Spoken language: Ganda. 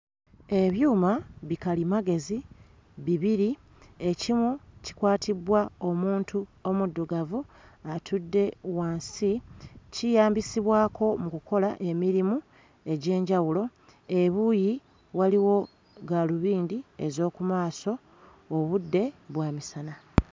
Ebyuma bikalimagezi bibiri, ekimu kikwatibbwa omuntu omuddugavu atudde wansi, kiyambisibwako mu kukola emirimu egy'enjawulo, ebuuyi waliwo gaalubindi ez'oku maaso obudde bwa misana.